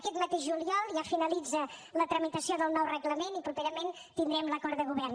aquest mateix juliol ja finalitza la tramitació del nou reglament i properament tindrem l’acord de govern